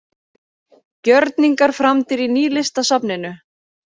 Gjörningar framdir í Nýlistasafninu